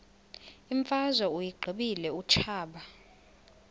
imfazwe uyiqibile utshaba